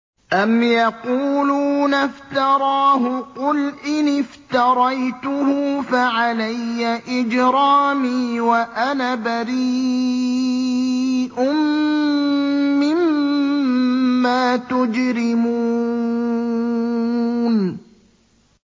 أَمْ يَقُولُونَ افْتَرَاهُ ۖ قُلْ إِنِ افْتَرَيْتُهُ فَعَلَيَّ إِجْرَامِي وَأَنَا بَرِيءٌ مِّمَّا تُجْرِمُونَ